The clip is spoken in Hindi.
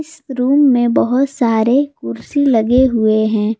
रूम में बहुत सारे कुर्सी लगे हुए हैं।